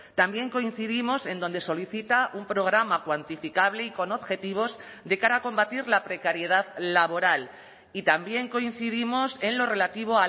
también coincidimos en donde solicita un programa cuantificable y con objetivos de cara a combatir la precariedad laboral y también coincidimos en lo relativo